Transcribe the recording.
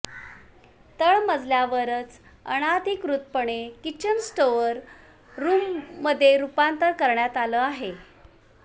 तळमजल्यावरच अनधिकृतपणे किचनचं स्टोअर रुममध्ये रुपांतर करण्यात आलं आहे